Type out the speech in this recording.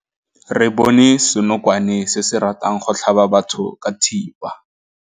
Re bone senokwane se se ratang go tlhaba batho ka thipa.